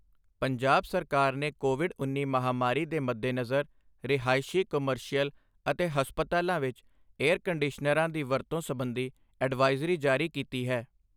ਪੰਜਾਬ ਸਰਕਾਰ ਨੇ ਕੋਵਿਡ ਉੱਨੀ ਮਹਾਮਾਰੀ ਦੇ ਮੱਦੇਨਜ਼ਰ ਰਿਹਾਇਸ਼ੀ ਕਮਰਸ਼ੀਅਲ ਅਤੇ ਹਸਪਤਾਲਾਂ ਵਿੱਚ ਏਅਰ ਕੰਡੀਸ਼ਨਰਾਂ ਦੀ ਵਰਤੋਂ ਸਬੰਧੀ ਅਡਵਾਇਜ਼ਰੀ ਜਾਰੀ ਕੀਤੀ ਹੈ।